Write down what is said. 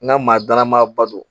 N ka maa dalama ba don